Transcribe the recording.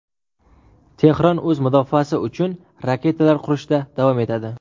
Tehron o‘z mudofaasi uchun raketalar qurishda davom etadi.